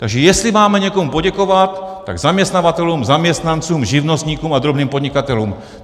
Takže jestli máme někomu poděkovat, tak zaměstnavatelům, zaměstnancům, živnostníkům a drobným podnikatelům.